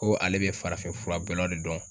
Ko ale bɛ farafin furabɔlaw de dɔn.